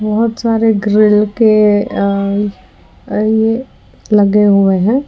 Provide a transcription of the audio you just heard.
बहुत सारे ग्रिल के अ ये लगे हुए हैं।